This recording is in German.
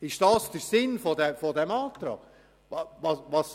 Ist das der Sinn dieses Antrags?